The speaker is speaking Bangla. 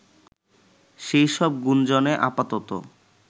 সেই সব গুঞ্জনে আপাতত